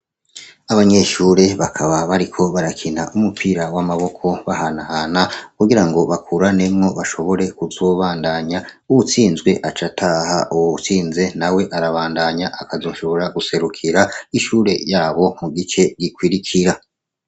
Abanyeshure bakaba bariko barakina umupira w'amaboko, bahanahana kugirango bakuranemwo, bashobore kuzobandanya. Uwutsinzwe aca ataha, uwutsinze nawe arabandanya, akazoshobora guserukira ishure yabo mu gice gikurikira.